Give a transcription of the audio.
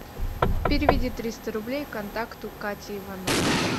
переведи триста рублей контакту кате ивановой